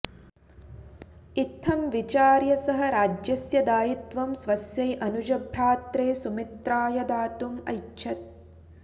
इत्थं विचार्य सः राज्यस्य दायित्वं स्वस्यै अनुजभ्रात्रे सुमित्राय दातुम् ऐच्छत्